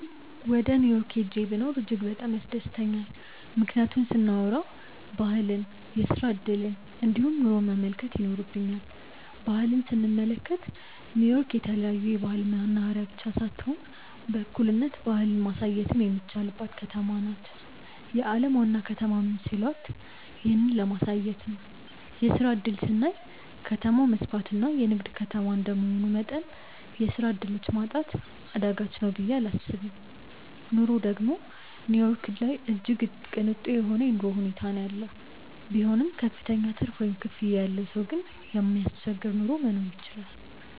ወደ ኒው ዮርክ ሂጄ ብኖር እጅግ በጣም ያስደስተኛል። ምክንያቱን ስናዎራ ባህልን፣ የስራ እድልን እንዲሁም ኑሮን መመልከት ይኖርብኛል። ባህል ስንመለከት ኒው ዮርክ የተለያዮ ባህል መናህሬያ ብቻ ሳትሆን በእኩልነት ባህልን ማሳየትም የሚቻልባትም ከተማ ናት። የአለም ዋና ከተማም ሲሏት ይህንን ለማሳየት ነው። የስራ እድል ስናይ ከተማው መስፍትና የንግድ ከተማ እንደመሆኑ መጠን የስራ ዕድሎች ማጣት አዳጋች ነው ብየ እላስብም። ኑሮ ደግም ኒው ዮርክ ላይ እጅግ ቅንጡ የሆነ የኑሮ ሁኔታ ነው ያለው። ቢሆንም ክፍተኛ ትርፍ ወይም ክፍያ ያለው ሰው ግን የማያስቸግር ኑሮ መኖር ይችላል።